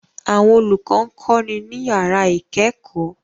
Àwọn olùkọ́ ń kọ́ni ní yàrá ìkẹ́kọ̀ọ́